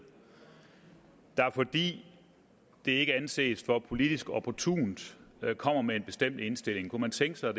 der fordi det ikke anses for politisk opportunt kommer med en bestemt indstilling kunne man tænke sig